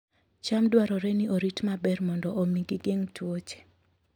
cham dwarore ni orit maber mondo omi gigeng' tuoche